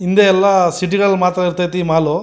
ಹಿಂದೆ ಎಲ್ಲ ಸಿಟಿ ನಲ್ಲಿ ಮಾತ್ರ ಇರ್ತಾಹೈತಿ ಈ ಮಾಲ್ .